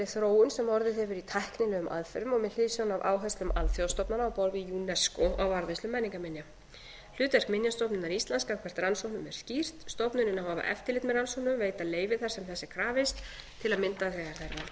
þróun sem orðið hefur í tæknilegum aðferðum og með hliðsjón af áherslum alþjóðastofnana á borð við unesco á varðveislu menningarminja hlutverk minjastofnunar íslands gagnvart rannsóknum er skýrt stofnunin á að hafa eftirlit með rannsóknum veita leyfi þar sem þess er krafist til að mynda þegar þær valda